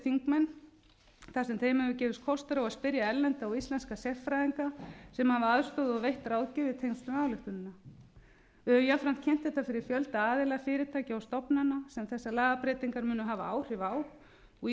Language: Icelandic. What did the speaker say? þar sem þeim hefur gefist kostur á að spyrja erlenda og íslenska sérfræðinga sem hafa aðstoðað og veitt ráðgjöf í tengslum við ályktunina við höfum jafnframt kynnt þetta fyrir fjölda aðila fyrirtækja og stofnana sem þessar lagabreytingar munu hafa áhrif á og í